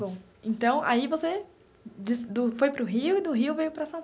Bom, então aí você de do foi para o Rio e do Rio veio para São.